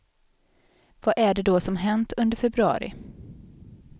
Vad är det då som hänt under februari?